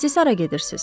Bəs siz hara gedirsiz?